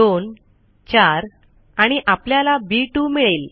24 आणि आपल्याला बी 2 मिळेल